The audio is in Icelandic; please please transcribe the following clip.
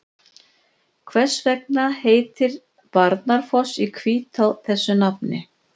Hvers vegna heitir Barnafoss í Hvítá þessu nafni?